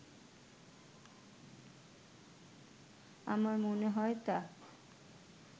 আমার মনে হয় তা